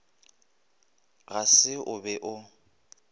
ga se o be o